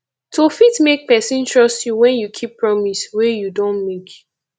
to fit make person trust you when you keep promise wey you don make